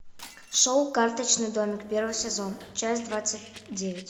шоу карточный домик первый сезон часть двадцать девять